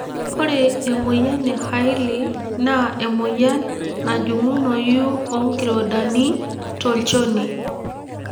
Ore emoyian e Hailey naa emoyian najungunoyi onkirondani tolchoni.